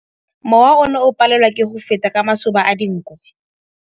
Mowa o ne o palelwa ke go feta ka masoba a dinko.